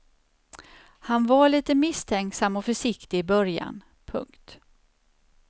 Han var lite misstänksam och försiktig i början. punkt